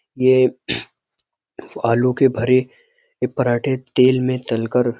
ये आलू के भरे पराठे तेल में तलकर --